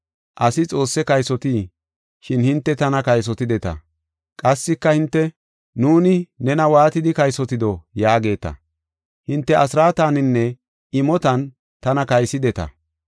“Asi Xoosse kaysotii? Shin hinte tana kaysotideta.” Qassika hinte, “Nuuni nena waatidi kaysotido? yaageeta. “Hinte asraataninne imotan tana kaysideta.